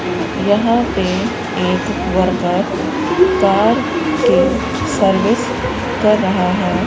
यहां पे एक वर्कर कार की सर्विस कर रहा है।